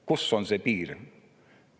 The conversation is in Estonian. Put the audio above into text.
Kus on see piir?